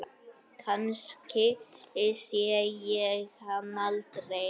Kannski sé ég hann aldrei.